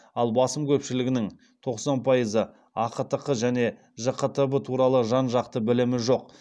ал басым көпшілігінің ақтқ және жқтб туралы жан жақты білімі жоқ